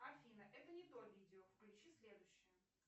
афина это не то видео включи следующее